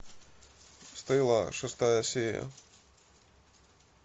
стелла шестая серия